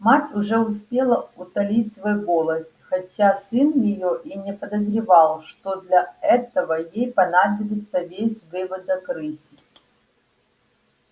мать уже успела утолить свой голод хотя сын её и не подозревал что для этого ей понадобится весь выводок рыси